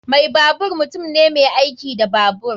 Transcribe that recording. Mai babur mutum ne mai aiki da babur.